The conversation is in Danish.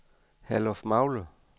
Herlufmagle